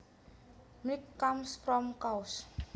Milk comes from cows